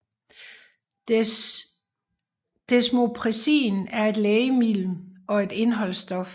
Desmopressin er et lægemiddel og et indholdsstof